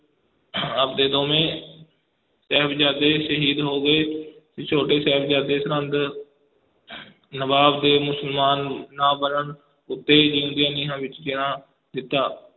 ਆਪ ਦੇ ਦੋਵੇਂ ਸਾਹਿਬਜ਼ਾਦੇ ਸ਼ਹੀਦ ਹੋ ਗਏ ਤੇ ਛੋਟੇ ਸਾਹਿਜ਼ਾਦੇ ਸਰਹੰਦ ਨਵਾਬ ਦੇ ਮੁਸਲਮਾਨ ਨਾ ਬਣਨ ਉਤੇ ਜੀਉਂਦਿਆਂ ਨੀਹਾਂ ਵਿੱਚ ਚਿਣਾ ਦਿੱਤਾ।